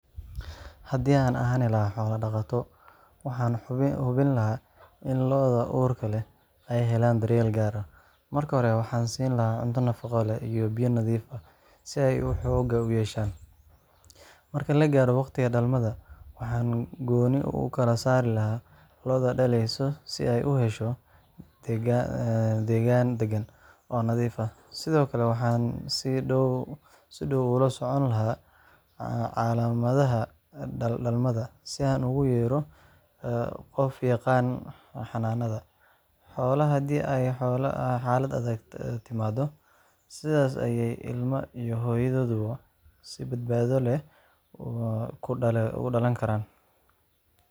Haddii aan ahaan lahaa xoolo-dhaqato, waxaan hubin lahaa in lo’da uurka leh ay helaan daryeel gaar ah. Marka hore, waxaan siin lahaa cunto nafaqo leh iyo biyo nadiif ah si ay u xooga yeeshaan. Marka la gaaro waqtiga dhalmada, waxaan gooni u kala saari lahaa lo’da dhalaysa si ay u hesho deegaan dagan oo nadiif ah. Sidoo kale, waxaan si dhow ula socon lahaa calaamadaha dhalmada si aan ugu yeero qof yaqaanna xanaanada xoolaha haddii ay xaalad adag timaado. Sidaas ayay ilmaha iyo hooyaduba si badbaado leh ku dhalan karaan.